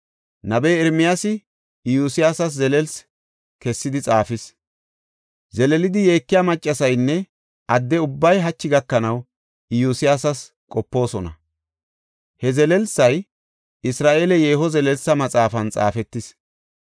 Nabey Ermiyaasi Iyosyaasas zelelsi kessidi xaafis. Zeleelidi yeekiya maccasaynne adde ubbay hachi gakanaw Iyosyaasas qopoosona. He zelelsay Isra7eele Yeeho zelelsa maxaafan xaafetis.